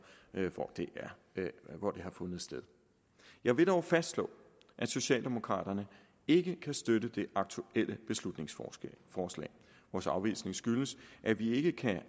hvor det har fundet sted jeg vil dog fastslå at socialdemokraterne ikke kan støtte det aktuelle beslutningsforslag vores afvisning skyldes at vi ikke kan